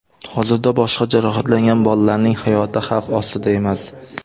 Hozirda boshqa jarohatlangan bolalarning hayoti xavf ostida emas.